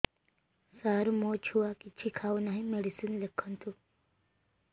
ସାର ମୋ ଛୁଆ କିଛି ଖାଉ ନାହିଁ ମେଡିସିନ ଲେଖନ୍ତୁ